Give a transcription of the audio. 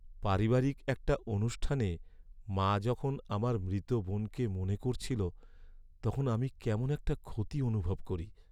পারিবারিক একটা অনুষ্ঠানে মা যখন আমার মৃত বোনকে মনে করছিল, তখন আমি কেমন একটা ক্ষতি অনুভব করি।